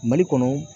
Mali kɔnɔ